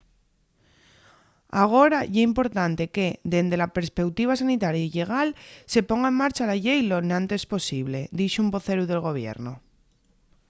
agora ye importante que dende la perspeutiva sanitaria y llegal se ponga en marcha la llei lo enantes posible” dixo un voceru del gobiernu